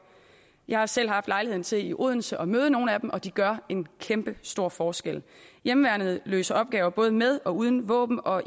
jeg har selv haft lejlighed til i odense at møde nogle af dem og de gør en kæmpestor forskel hjemmeværnet løser opgaver både med og uden våben og